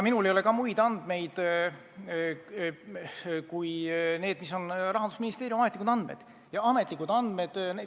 Minul ei ole ka muid andmeid kui need, mis on Rahandusministeeriumi ametlikud andmed.